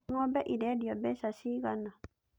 Ng'ombe ĩrendio mbeca ciigana?